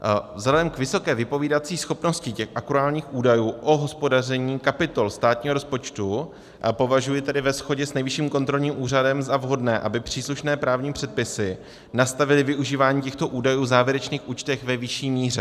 Vzhledem k vysoké vypovídací schopnosti těch akruálních údajů o hospodaření kapitol státního rozpočtu považuji tedy ve shodě s Nejvyšším kontrolním úřadem za vhodné, aby příslušné právní předpisy nastavily využívání těchto údajů v závěrečných účtech ve vyšší míře.